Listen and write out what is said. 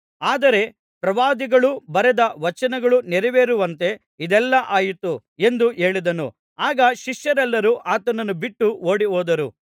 ಆದರೆ ಪ್ರವಾದಿಗಳು ಬರೆದ ವಚನಗಳು ನೆರವೇರುವಂತೆ ಇದೆಲ್ಲಾ ಆಯಿತು ಎಂದು ಹೇಳಿದನು ಆಗ ಶಿಷ್ಯರೆಲ್ಲರೂ ಆತನನ್ನು ಬಿಟ್ಟು ಓಡಿಹೋದರು